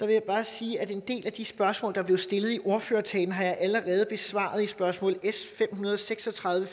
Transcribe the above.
jeg bare sige at en del af de spørgsmål der blev stillet i ordførertalen har jeg allerede besvaret i spørgsmål s fem hundrede og seks og tredive